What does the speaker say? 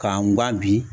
K'an bi